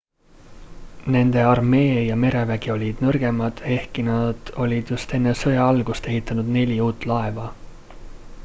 nende armee ja merevägi olid nõrgemad ehkki nad olid just enne sõja algust ehitanud neli uut laeva